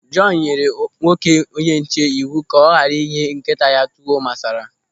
Jọọnu nyere nwoke onyenche iwu ka ọ ghara inye nkịta ya tuwo masara.